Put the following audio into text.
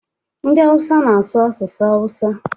Ndị Awụsa na-asụ asụsụ Hausa.